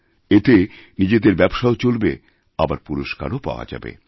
এতেনিজেদের ব্যবসাও চলবে আবার পুরস্কারও মিলবে